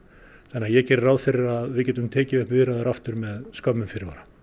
þannig ég geri ráð fyrir að við getum tekið upp viðræður aftur með skömmum fyrirvara